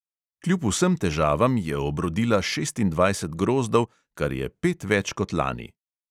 Kljub vsem težavam je obrodila šestindvajset grozdov, kar je pet več kot lani.